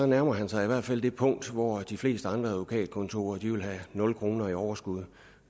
nærmer han sig i hvert fald det punkt hvor de fleste andre advokatkontorer ville have nul kroner i overskud